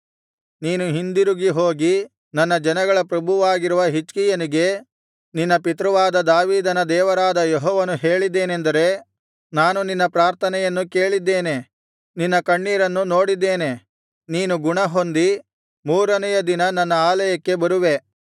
ನೀನು ಹಿಂದಿರುಗಿ ಹೋಗಿ ನನ್ನ ಜನಗಳ ಪ್ರಭುವಾಗಿರುವ ಹಿಜ್ಕೀಯನಿಗೆ ನಿನ್ನ ಪಿತೃವಾದ ದಾವೀದನ ದೇವರಾದ ಯೆಹೋವನು ಹೇಳಿದ್ದೇನೆಂದರೆ ನಾನು ನಿನ್ನ ಪ್ರಾರ್ಥನೆಯನ್ನು ಕೇಳಿದ್ದೇನೆ ನಿನ್ನ ಕಣ್ಣೀರನ್ನು ನೋಡಿದ್ದೇನೆ ನೀನು ಗುಣಹೊಂದಿ ಮೂರನೆಯ ದಿನ ನನ್ನ ಆಲಯಕ್ಕೆ ಬರುವೆ